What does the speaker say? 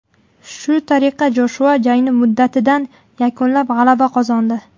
Shu tariqa Joshua jangni muddatidan yakunlab, g‘alaba qozondi.